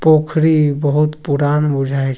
पोखरी बहुत पुरान बुझाय --